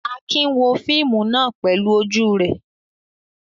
Akin wo fíímù náà pẹlú ojú rẹ̀.